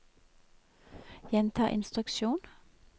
gjenta instruksjon